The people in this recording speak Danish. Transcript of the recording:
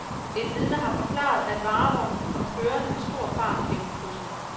Et vidne har forklaret, at varevognen kom kørende med stor fart gennem krydset.